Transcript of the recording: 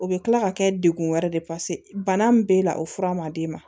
U bɛ kila ka kɛ dekun wɛrɛ de ye bana min b'e la o fura ma d'e ma